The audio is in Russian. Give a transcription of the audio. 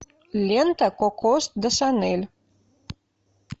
лента коко до шанель